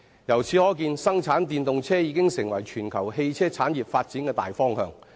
由此可見，生產電動車已成為全球汽車產業發展的大方向。